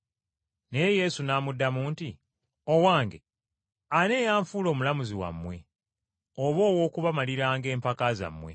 Naye Yesu n’amuddamu nti, “Owange, ani eyanfuula omulamuzi wammwe oba ow’okubamaliranga empaka zammwe?”